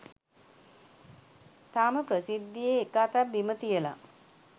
තාම ප්‍රසිද්ධියේ එක අතක් බිම තියලා